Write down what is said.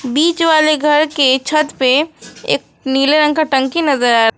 बीच वाले घर के छत पे एक नीले रंग का टंकी नजर--